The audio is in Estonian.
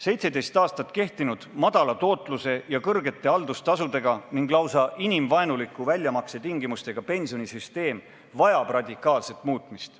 17 aastat kehtinud väikese tootluse ja suurte haldustasude ning lausa inimvaenulike väljamaksetingimustega pensionisüsteem vajab radikaalset muutmist.